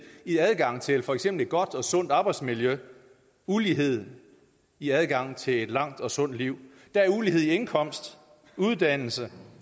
i adgangen til for eksempel et godt og sundt arbejdsmiljø ulighed i adgangen til et langt og sundt liv der er ulighed i indkomst uddannelse